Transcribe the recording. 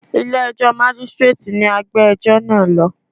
Ilé ẹjọ́ Mágístíréètì ni a gbé ẹjọ́ náà lọ.